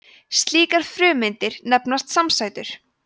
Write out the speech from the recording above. slíkar frumeindir nefnast samsætur